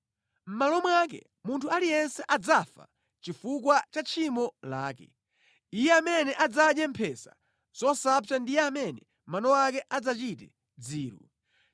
Mʼmalo wake, munthu aliyense adzafa chifukwa cha tchimo lake. Iye amene adzadye mphesa zosapsazo ndiye amene mano ake adzachite dziru.”